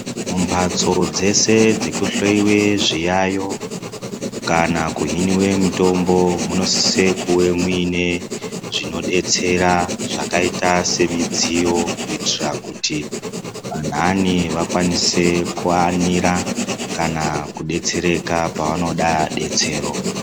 Mumbatso dzese dzekuhloyiwe zviyayo kana kuhiniwe mitombo munosise kuve muine zvinodetsera zvakaita semidziyo kuitira kuti anhani vakwanise kuanira kana kudetsereka panavoda detsero.